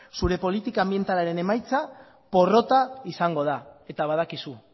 zure politika anbientalaren emaitza porrota izango da eta badakizu